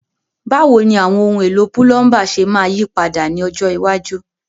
Báwo ni àwọn ohun èlò púlọ́ńbà ṣe máa yí padà ní ọjọ́ iwájú?